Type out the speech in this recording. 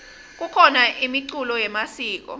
kukhona imiculo yemasiko